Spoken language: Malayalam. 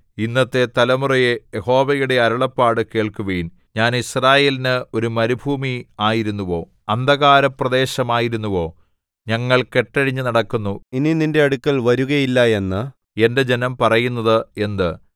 ഇന്നത്തെ തലമുറയേ യഹോവയുടെ അരുളപ്പാട് കേൾക്കുവിൻ ഞാൻ യിസ്രായേലിന് ഒരു മരുഭൂമി ആയിരുന്നുവോ അന്ധകാരപ്രദേശമായിരുന്നുവോ ഞങ്ങൾ കെട്ടഴിഞ്ഞു നടക്കുന്നു ഇനി നിന്റെ അടുക്കൽ വരുകയില്ല എന്ന് എന്റെ ജനം പറയുന്നത് എന്ത്